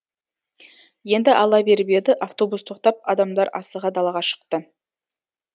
енді ала беріп еді автобус тоқтап адамдар асыға далаға шықты